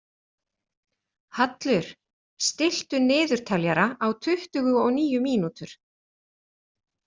Hallur, stilltu niðurteljara á tuttugu og níu mínútur.